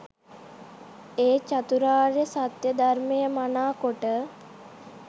ඒ චතුරාර්ය සත්‍යය ධර්මය මනාකොට